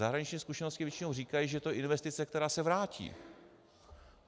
Zahraniční zkušenosti většinou říkají, že je to investice, která se vrátí.